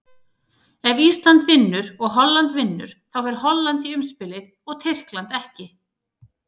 Ef Ísland vinnur og Holland vinnur, þá fer Holland í umspilið og Tyrkland ekki.